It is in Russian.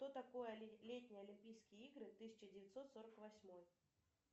что такое летние олимпийские игры тысяча девятьсот сорок восьмой